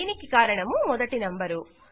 దీనికి కారణము మొదటి నంబరు